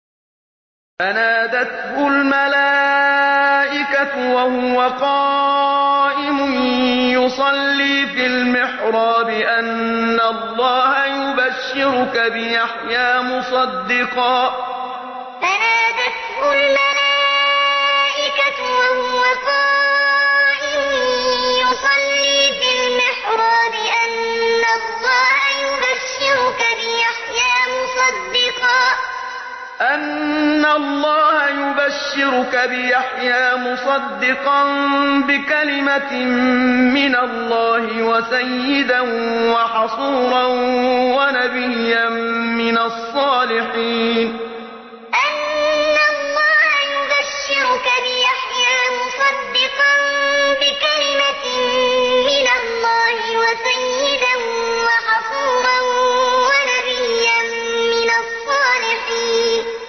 فَنَادَتْهُ الْمَلَائِكَةُ وَهُوَ قَائِمٌ يُصَلِّي فِي الْمِحْرَابِ أَنَّ اللَّهَ يُبَشِّرُكَ بِيَحْيَىٰ مُصَدِّقًا بِكَلِمَةٍ مِّنَ اللَّهِ وَسَيِّدًا وَحَصُورًا وَنَبِيًّا مِّنَ الصَّالِحِينَ فَنَادَتْهُ الْمَلَائِكَةُ وَهُوَ قَائِمٌ يُصَلِّي فِي الْمِحْرَابِ أَنَّ اللَّهَ يُبَشِّرُكَ بِيَحْيَىٰ مُصَدِّقًا بِكَلِمَةٍ مِّنَ اللَّهِ وَسَيِّدًا وَحَصُورًا وَنَبِيًّا مِّنَ الصَّالِحِينَ